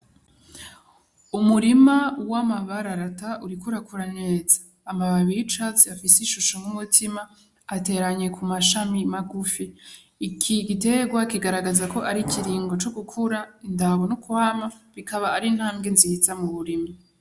Umurima w'amabararata uriko urakura neza, amababi y'icatsi afise ishusho nk'umutima ateranye ku mashami magufi, iki gitegwa kigaragaza ko ari ikiringo co gukura, indango n'ukwama bikaba ari ntambwe nziza mu burimyi.